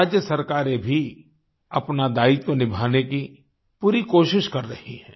राज्य सरकारें भी अपना दायित्व निभाने की पूरी कोशिश कर रही हैं